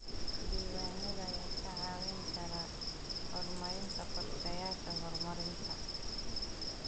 Diiwaanada ayaa kaa caawin kara horumarinta qorshayaasha horumarinta.